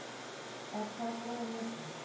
Er það bráðnauðsynlegt?